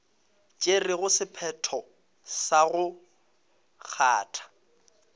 tšerego sephetho sa go kgatha